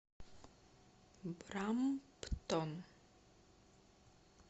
брамптон